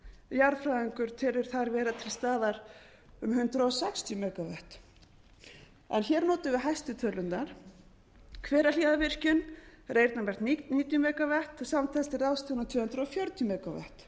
jarðfræðingur telur þar vera til staðar um hundrað sextíu megavatt en hér notum við hæstu tölurnar hverahlíðarvirkjun þar er einn á hvert níutíu megavatt samtals til ráðstöfunar tvö hundruð fjörutíu megavatt